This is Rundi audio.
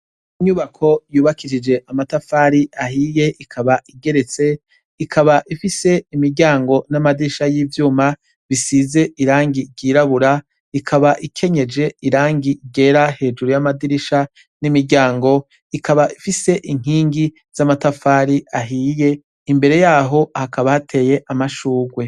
Inyubako yubakishije amatafari ahiye ikaba igeretse ikaba ifise imiryango n'amadirisha y'ivyuma bisize irangi ryirabura ikaba ikenyeje irangi igera hejuru y'amadirisha n'imiryango ikaba ifise inkingi z'amatafari ahiye imbere yaho hakabateye amashurwe.